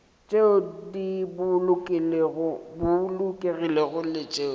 tšeo di bolokegilego le tšeo